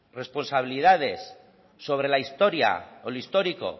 responsabilidades sobre la historia o el histórico